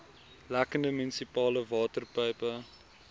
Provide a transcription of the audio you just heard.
lekkende munisipale waterpype